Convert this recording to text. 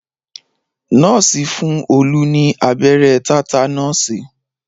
Nọ́ọ̀sì fún Olú ní abẹ́rẹ́ tátánọ̀sì